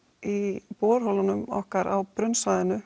í borholunum okkar á